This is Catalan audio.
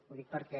ho dic perquè